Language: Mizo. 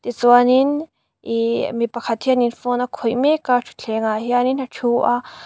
chuanin ihh mipakhat hianin phone a khawih mek a thuthleng ah hianin a thu a.